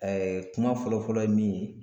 kuma fɔlɔ fɔlɔ ye min ye